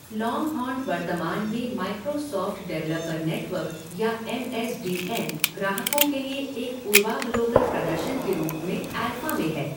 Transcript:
Longhorn वर्तमान में Microsoft developer network या एम एस डी एन ग्राहकों के लिए एक पूर्वावलोकन प्रदर्शन के रूप में एल्फ़ा में है।